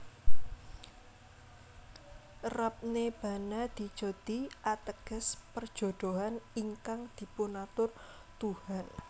Rab Ne Bana Di Jodi ateges Perjodohan ingkang Dipunatur Tuhan